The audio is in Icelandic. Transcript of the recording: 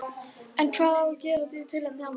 En hvað á að gera í tilefni afmælisins?